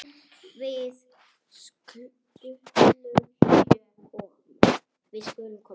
Við skulum koma